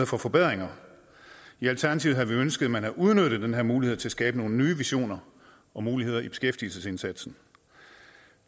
for forbedringer i alternativet havde vi ønsket at man havde udnyttet den her mulighed til at skabe nogle nye visioner og muligheder i beskæftigelsesindsatsen